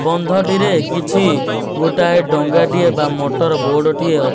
ବନ୍ଧଟିରେ କିଛି ଗୋଟିଏ ଡଙ୍ଗାଟିଏ ବା ମଟର ବୋର୍ଡ ଟିଏ ଅ --